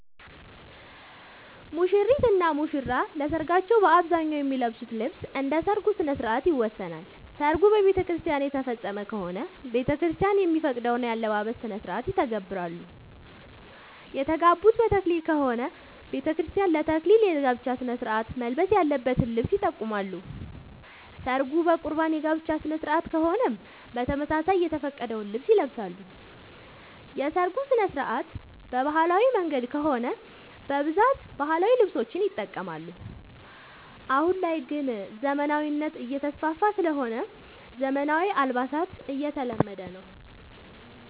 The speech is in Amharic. ሙሽሪት እና ሙሽራ ለሰርካቸው በአብዛኛው የሚለብሱት ልብስ እንደ ሠርጉ ስነስርዓት ይወሰናል። ሰርጉ በቤተክርስቲያን የተፈፀመ ከሆነ ቤተክርስቲያን የሚፈቅደውን የአለባበስ ስነስርዓት ይተገብራሉ። የተጋቡት በተክሊል ከሆነ በቤተክርስቲያን ለ ተክሊል የጋብቻ ስነስርዓት መልበስ ያለበትን ልብስ ይጠቀማሉ። ሰርጉ በቁርባን የጋብቻ ስነስርዓት ከሆነም በተመሳሳይ የተፈቀደውን ልብስ ይለብሳሉ። የሰርጉ ስነስርዓት በባህላዊ መንገድ ከሆነ በብዛት ባህላዊ ልብሶችን ይጠቀማሉ። አሁን ላይ ግን ዘመናዊነት እየተስፋፋ ስለሆነ ዘመናዊ አልባሳት እየተለመደ ነው።